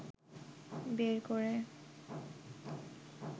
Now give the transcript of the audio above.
বের করে